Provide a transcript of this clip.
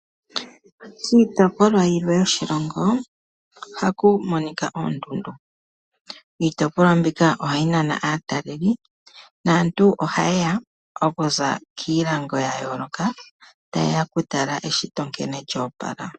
Kiitopolwa yilwe yoshilongo ohaku monika oondundu. Iitopolwa mbika ohayi nana aataleli naantu ohaye ya okuza kiilongo ya yooloka, taye ya okutala nkene eshito lyo opala.